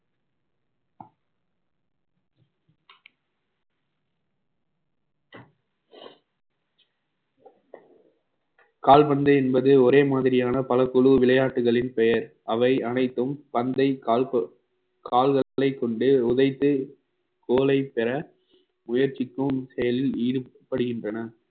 கால்பந்து என்பது ஒரே மாதிரியான பல குழு விளையாட்டுகளின் பெயர் அவை அனைத்தும் பந்தை கால்க~ கால்களைக் கொண்டு உதைத்து கோலை பெற முயற்சிக்கும் செயலில் ஈடுபடுகின்றன